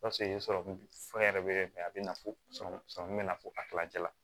fɛn yɛrɛ bɛ kɛ a bɛ na fo bɛ na fo a kilancɛ la